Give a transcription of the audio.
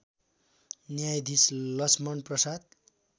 न्यायधीश लक्ष्मण प्रसाद